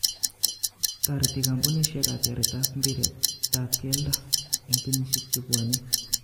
Toreti kampunishek katyaret ap mpiretap keldo en kenyishek chepwone